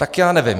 Tak já nevím.